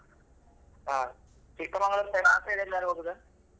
ಹಾ Chikkamagalur side ಆ side ಎಲ್ಲಾದ್ರೂ ಹೋಗುದಾ?